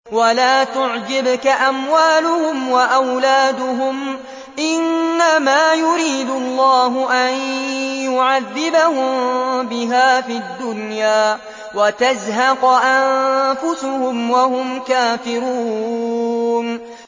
وَلَا تُعْجِبْكَ أَمْوَالُهُمْ وَأَوْلَادُهُمْ ۚ إِنَّمَا يُرِيدُ اللَّهُ أَن يُعَذِّبَهُم بِهَا فِي الدُّنْيَا وَتَزْهَقَ أَنفُسُهُمْ وَهُمْ كَافِرُونَ